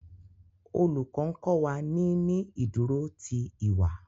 Olùkó nkó wá ní ní ìdúró tí ìwà